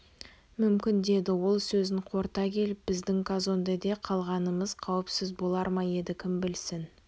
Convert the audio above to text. мүмкін деді ол сөзін қорыта келіп біздің казондеде қалғанымыз қауіпсіз болар ма еді кім білсін